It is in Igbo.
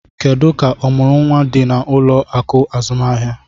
Kedu ka ọmụrụ nwa dị na ụlọ akụ azụmaahịa?